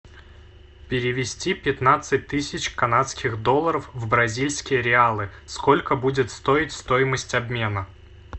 перевести пятнадцать тысяч канадских долларов в бразильские реалы сколько будет стоить стоимость обмена